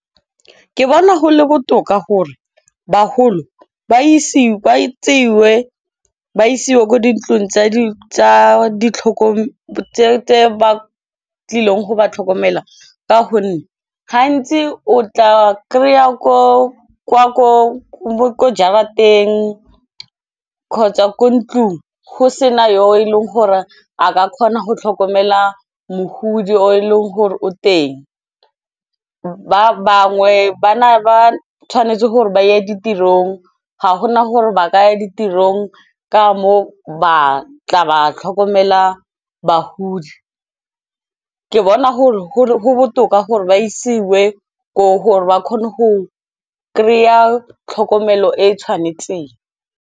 Ke bona go le botoka gore bagolo ba isiwe kwa dintlong tsa ditlhokomedi tse ba tlileng go ba tlhokomela. Ka gonne gantsi o tla kry-a jarateng, kgotsa ko ntlung go sena yo e leng gore a ka kgona go tlhokomela mogudi o e leng gore o teng. Ba bangwe ba na ba tshwanetse gore ba ye ditirong, ga gona gore ba ka ya ditirong ka mo ba tla ba tlhokomela bagodi. Ke bona go botoka gore ba isiwe koo gore ba kgone go kry-a tlhokomelo e e tshwanetseng.